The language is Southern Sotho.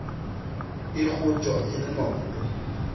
e kgotjwa e le maoto